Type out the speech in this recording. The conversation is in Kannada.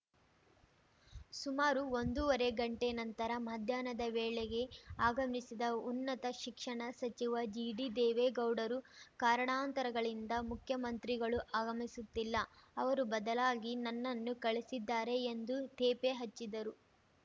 ಸುಮಾರು ಒಂದೂವರೆ ಗಂಟೆ ನಂತರ ಮಧ್ಯಾಹ್ನದ ವೇಳೆಗೆ ಆಗಮಿಸಿದ ಉನ್ನತ ಶಿಕ್ಷಣ ಸಚಿವ ಜಿಟಿದೇವೇಗೌಡರು ಕಾರಣಾಂತರಗಳಿಂದ ಮುಖ್ಯಮಂತ್ರಿಗಳು ಆಗಮಿಸುತ್ತಿಲ್ಲ ಅವರು ಬದಲಾಗಿ ನನ್ನನ್ನು ಕಳಿಸಿದ್ದಾರೆ ಎಂದು ತೇಪೆ ಹಚ್ಚಿದರು